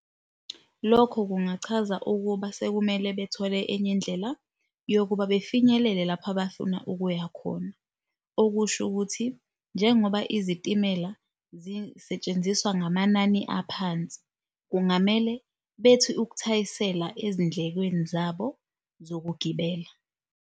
Lokho kungachaza ukuba sekumele bethole enye indlela yokuba befinyelele lapho abafuna ukuyakhona. Okusho ukuthi njengoba izitimela zisetshenziswa ngamanani aphansi, kungamele bethi ukuthayisela ezindlekweni zabo zokugibela.